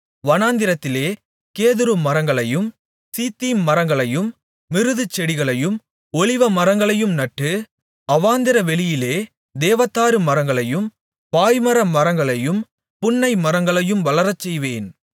வனாந்திரத்திலே கேதுருமரங்களையும் சீத்திம் மரங்களையும் மிருதுச்செடிகளையும் ஒலிவமரங்களையும் நட்டு அவாந்தரவெளியிலே தேவதாருமரங்களையும் பாய்மர மரங்களையும் புன்னைமரங்களையும் வளரச்செய்வேன்